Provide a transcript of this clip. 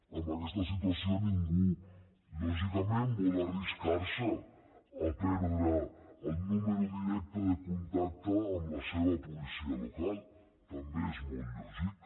en aquesta situació ningú lògicament vol arriscar se a perdre el número directe de contacte amb la seva policia local també és molt lògic